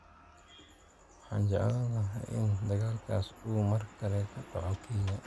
Waxaan jeclaan lahaa in dagaalkaas uu mar kale ka dhaco Kenya